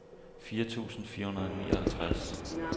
firs tusind fire hundrede og nioghalvtreds